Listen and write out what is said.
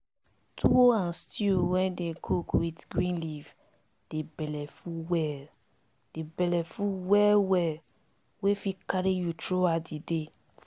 tuwo and stew wey dey cook with green leaf dey belleful well dey belleful well well wey fit carry you through out the day